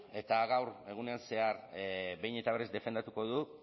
eta gaur egunean zehar behin eta berriz defendatuko dut